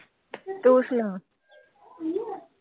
ਤੂੰ ਸੁਣਾ